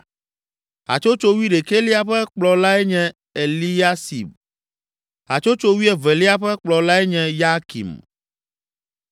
Hatsotso wuiɖekɛlia ƒe kplɔlae nye Eliasib. Hatsotso wuievelia ƒe kplɔlae nye Yakim.